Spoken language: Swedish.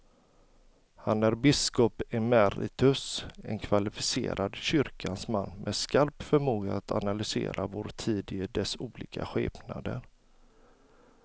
Han är biskop emeritus, en kvalificerad kyrkans man med skarp förmåga att analysera vår tid i dess olika skepnader.